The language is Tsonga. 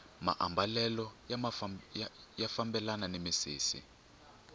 maambalelo ya fambelana ni misisi